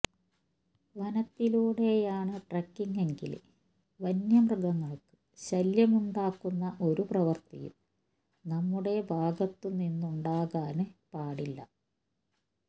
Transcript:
വനത്തിലൂടെയാണ് ട്രെക്കിങ്ങെങ്കില് വന്യമൃഗങ്ങള്ക്ക് ശല്യമുണ്ടാക്കുന്ന ഒരു പ്രവര്ത്തിയും നമ്മുടെ ഭാഗത്തുനിന്നുണ്ടാകാന് പാടില്ല